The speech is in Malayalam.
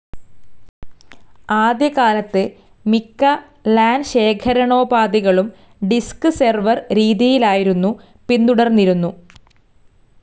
ആദ്യകാലത്തു മിക്ക ലാൻ ശേഖറാണോപാധികളും ഡിസ്ക്‌ സെർവർ രീതിയായിരുന്നു പിന്തുടർന്നിരുന്നു.